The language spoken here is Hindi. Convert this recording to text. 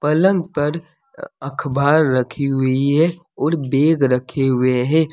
पलंग पर अखबार रखी हुई है और बैग रखे हुवे हैं।